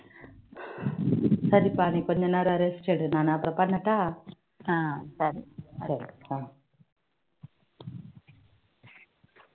சரிப்பா நீ கொஞ்ச நேரம் rest எடு நான் அப்புறோம் பண்ணட்டா ஆஹ் சரி